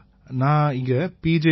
ஐயா நான் இங்க பி